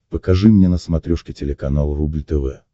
покажи мне на смотрешке телеканал рубль тв